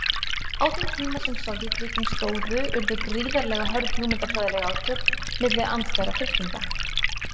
Á þeim tíma sem Sovétríkin stóðu urðu gríðarlega hörð hugmyndafræðileg átök milli andstæðra fylkinga.